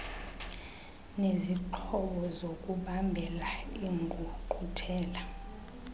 nezixhobo zokubambela iingqungquthela